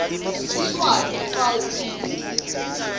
siswati fal p